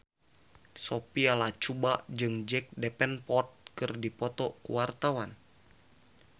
Sophia Latjuba jeung Jack Davenport keur dipoto ku wartawan